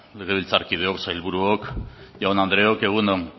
legebiltzarkideok sailburuok jaun andreok egun on